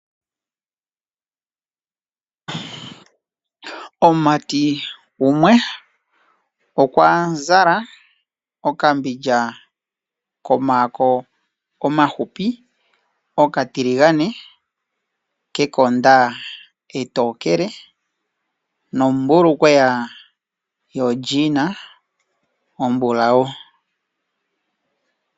Omumati gumwe okwa zala okambidja komaako omafupi okatiligane, kekonda etokele nombulukweya yolyiina ombulawu.